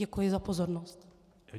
Děkuji za pozornost.